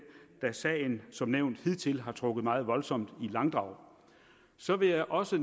da sagen som nævnt hidtil har trukket meget voldsomt i langdrag så vil jeg også